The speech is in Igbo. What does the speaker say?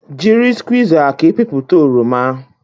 Jiri skwuiza ka ịpịpụta oroma